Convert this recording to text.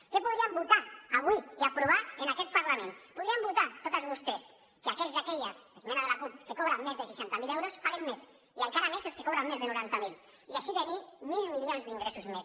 què podríem votar avui i aprovar en aquest parlament podrien votar totes vostès que aquells i aquelles esmena de la cup que cobren més de seixanta mil euros paguin més i encara més els que cobren més de noranta mil i així tenir mil milions d’ingressos més